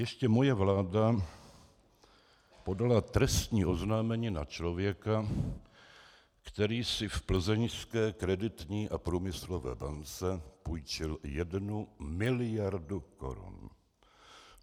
Ještě moje vláda podala trestní oznámení na člověka, který si v plzeňské Kreditní a průmyslové bance půjčil jednu miliardu korun.